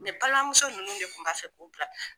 balimamuso ninnu de kun b'a fɛ k'o bila